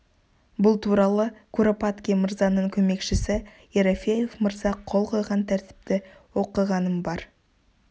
бұл туралы куропаткин мырзаның көмекшісі ерофеев мырза қол қойған тәртіпті оқығаным бар